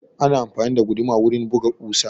Ana amfani da guduma wurin buga ƙusa.